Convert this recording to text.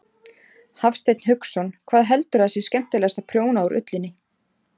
Hafsteinn Hauksson: Hvað heldurðu að sé skemmtilegast að prjóna úr ullinni?